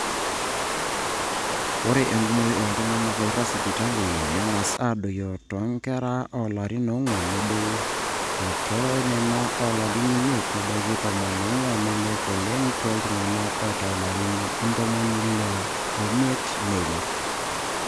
ore enkumoi ooltung'anak ooirag sipitali neng'asa adoyio toonkera oolarin oong'wan nedou o toonena oolarin imiet nebaiki tomon oong'wan neilep oleng tooltung'anak oota ilarin ntomoni ile oimiet neilep